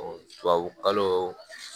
tubabukalo